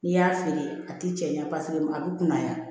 N'i y'a feere a ti cɛɲa paseke a bɛ kunbaya